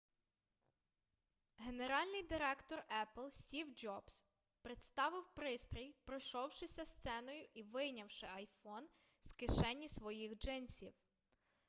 генеральний директор епл стів джобс представив пристрій пройшовшися сценою і вийнявши iphone з кишені своїх джинсів